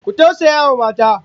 Ku tausayawa mata!